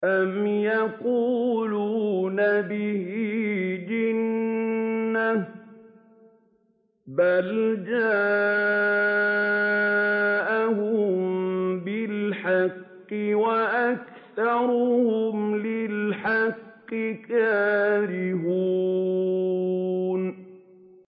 أَمْ يَقُولُونَ بِهِ جِنَّةٌ ۚ بَلْ جَاءَهُم بِالْحَقِّ وَأَكْثَرُهُمْ لِلْحَقِّ كَارِهُونَ